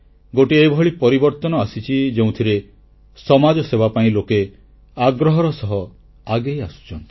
ଗୋଟିଏ ଏଭଳି ପରିବର୍ତ୍ତନ ଆସିଛି ଯେଉଁଥିରେ ସମାଜସେବା ପାଇଁ ଲୋକେ ଆଗ୍ରହର ସହ ଆଗେଇ ଆସୁଛନ୍ତି